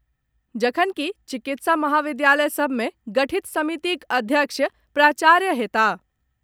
जखनकि चिकित्सा महाविद्यालय सभ में गठित समितिक अध्यक्ष प्राचार्य होयताह।